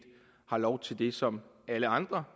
har lov til det som alle andre